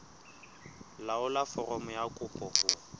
laolla foromo ya kopo ho